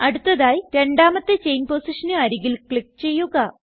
അടുത്തതായി രണ്ടാമത്തെ ചെയിൻ പൊസിഷന് അരികിൽ ക്ലിക്ക് ചെയ്യുക